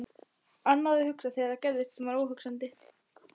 Annað að hugsa þegar það gerðist sem var óhugsandi.